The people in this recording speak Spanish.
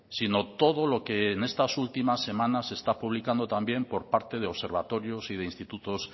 sino todo lo que en estas últimas semanas se está publicando también por parte de observatorios y de institutos